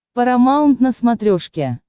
парамаунт на смотрешке